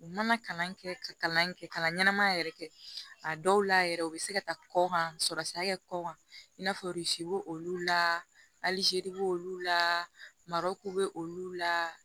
U mana kalan kɛ ka kalan kɛ kalan ɲɛnama yɛrɛ kɛ a dɔw la yɛrɛ u bɛ se ka taa kɔkan sɔrɔ sira kɛ kɔ kan i n'a fɔ b'o olu la alizeri b'olu la marɔku bɛ olu la